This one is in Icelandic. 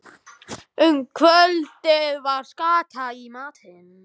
Um kvöldið var skata í matinn.